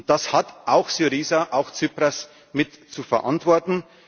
Lage. Das hat auch Syriza auch Tsipras mit zu verantworten.